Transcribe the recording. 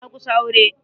Na kusa aure.